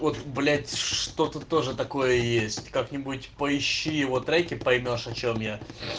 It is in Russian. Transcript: вот блять что тоже такое есть как-нибудь поищи его треки поймёшь о чем я